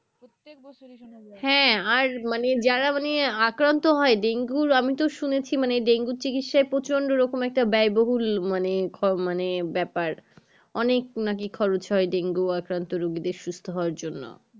হ্যাঁ আর মানে যারা মানে আকান্ত হয় ডেঙ্গুর আমি তো শুনেছি মানে ডেঙ্গুর চিকিৎসায় প্রচন্ড রকম একটা ব্যয় বহুল মানে খই মানে ব্যাপার অনেক নাকি খরচ হয় ডেঙ্গু আকান্ত রুগীদের সুসস্থ হওয়া জন্য